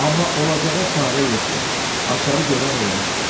Amma olacağa çarə yoxdur, açarı görən olmuşdu.